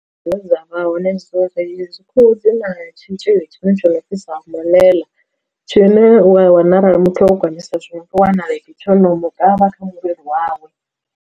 Dzine dza vha hone dzo ri dzi khuhu dzi na tshitzhili tshine tsho no pfi samuḽeḽa tshine u a wana arali muthu o gonyisa zwino u wanala iti tsho no mu kavha kha muvhili wawe.